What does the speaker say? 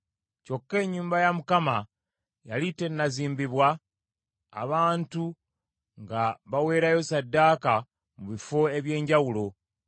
Kyokka ennyumba ya Mukama yali tenazimbibwa, abantu nga baweerayo ssaddaaka mu bifo eby’enjawulo.